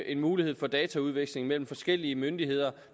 en mulighed for dataudveksling mellem forskellige myndigheder